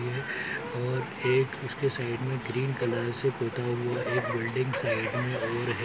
और एक उसके साइड में ग्रीन कलर से पोता हुआ एक बिल्डिंग साइड में और है।